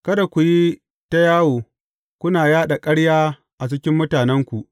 Kada ku yi ta yawo kuna yaɗa ƙarya a cikin mutanenku.